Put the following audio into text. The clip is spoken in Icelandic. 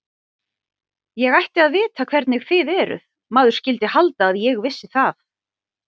Ég ætti að vita hvernig þið eruð, maður skyldi halda að ég vissi það.